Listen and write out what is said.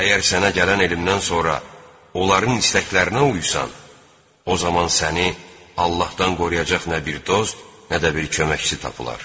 Əgər sənə gələn elmdən sonra onların istəklərinə uysan, o zaman səni Allahdan qoruyacaq nə bir dost, nə də bir köməkçi tapılar.